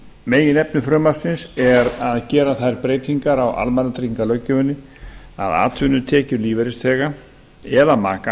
meginefni frumvarpsins er að gera þær breytingar á almannatryggingalöggjöfinni að atvinnutekjur lífeyrisþega eða maka